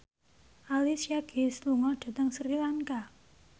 Alicia Keys lunga dhateng Sri Lanka